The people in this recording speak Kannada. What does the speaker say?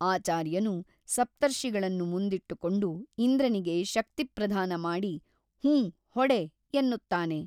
ಆಚಾರ್ಯನು ಸಪ್ತರ್ಷಿಗಳನ್ನು ಮುಂದಿಟ್ಟುಕೊಂಡು ಇಂದ್ರನಿಗೆ ಶಕ್ತಿಪ್ರಧಾನಮಾಡಿ ಹೂಂ ಹೊಡೆ ಎನ್ನುತ್ತಾನೆ.